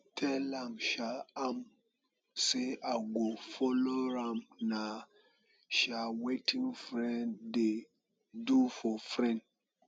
tell um am say i go follow am na um wetin friend dey do for friend